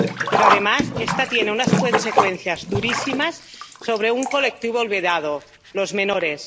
Pero, además, esta tiene unas consecuencias durísimas sobre un colectivo olvidado los menores.